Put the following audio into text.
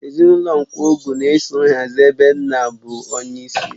Ezinụlọ Nkwogu na-eso nhazi ebe nna bụ onyeisi.